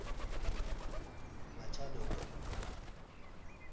machadodorp